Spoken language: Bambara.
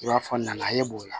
I b'a fɔ na ye b'o la